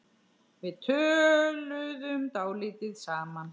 Við töluðum dálítið saman.